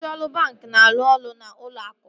Ndị ọrụ banki na-arụ n'ụlọ akụ